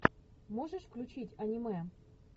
можешь включить аниме